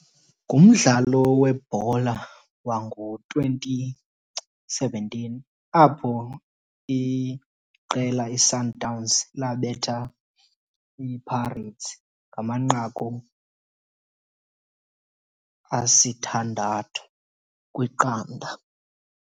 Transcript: Ngumdlalo webhola wango-twenty seventeen apho iqela iSundowns labetha iPirates ngamanqaku asithandathu kwiqanda.